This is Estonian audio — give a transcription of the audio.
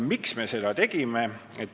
Miks me seda tegime?